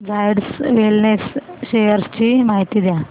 Zydus wellness shares ची माहिती द्या